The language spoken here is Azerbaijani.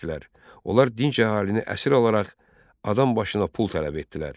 Onlar dinc əhalini əsir alaraq adam başına pul tələb etdilər.